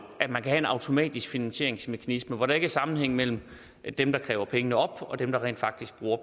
at man kan have en automatisk finansieringsmekanisme hvor der ikke er sammenhæng mellem dem der kræver pengene op og dem der rent faktisk bruger